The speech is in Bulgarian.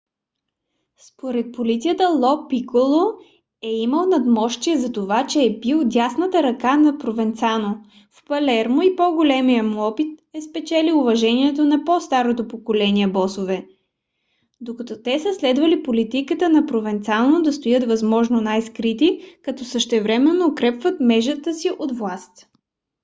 според полицията ло пиколо е имал надмощие затова че е бил дясната ръка на провенцано в палермо и по-големият му опит му е спечелил уважението на по - старото поколение босове докато те са следвали политиката на провенцано да стоят възможно най-скрити като същевременно укрепват мрежата си от власт